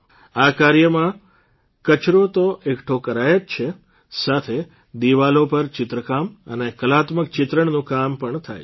આ કાર્યમાં કચરો તો એકઠો કરાય છે જ સાથે દિવાલો પર ચિત્રકામ અને કલાત્મક ચિત્રણનું કામ પણ થાય છે